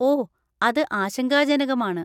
ഓ, അത് ആശങ്കാജനകമാണ്.